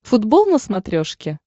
футбол на смотрешке